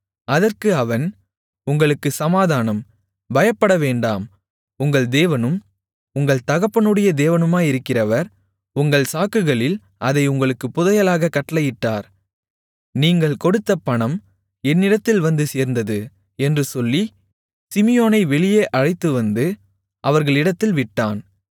அதற்கு அவன் உங்களுக்குச் சமாதானம் பயப்படவேண்டாம் உங்கள் தேவனும் உங்கள் தகப்பனுடைய தேவனுமாயிருக்கிறவர் உங்கள் சாக்குகளில் அதை உங்களுக்குப் புதையலாகக் கட்டளையிட்டார் நீங்கள் கொடுத்த பணம் என்னிடத்தில் வந்து சேர்ந்தது என்று சொல்லி சிமியோனை வெளியே அழைத்து வந்து அவர்களிடத்தில் விட்டான்